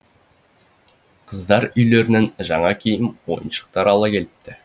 қыздар үйлерінен жаңа киім ойыншықтар ала келіпті